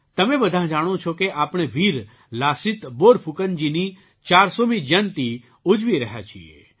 તમે બધાં જાણો છો કે આપણે વીર લાસિત બોરફૂકનજીની 400મી જયંતી ઉજવી રહ્યા છીએ